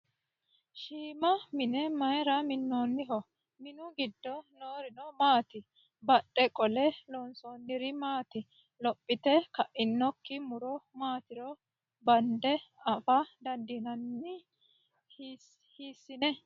Shiima mine mayiira minnoniho? Minu giddo noorino maati? Badhee qolle loonsoyiiri maati? Lophite ka'inokki muro maatiro bande afa dandiinanni? Hiissine?